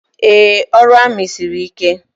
Ee, ọrụ amị siri ike.